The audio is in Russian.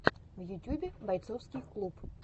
в ютюбе борцовский клуб